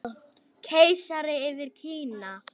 Keisari yfir Kína